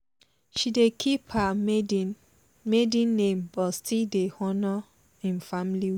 she dey keep her maiden name but still dey honour im family ways